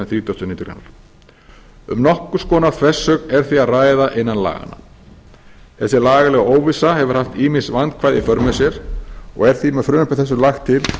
þrítugustu og níundu grein um nokkurs konar þversögn er því að ræða innan laganna þessi lagalega óvissa hefur haft ýmis vandkvæði í för með sér og er því með frumvarpi þessu lagt til